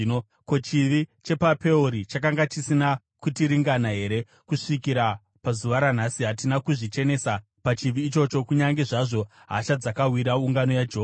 Ko, chivi chepaPeori chakanga chisina kutiringana here? Kusvikira pazuva ranhasi hatina kuzvichenesa pachivi ichocho kunyange zvazvo hasha dzakawira ungano yaJehovha!